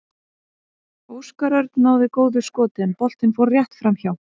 Óskar Örn náði góðu skoti en boltinn fór rétt framhjá.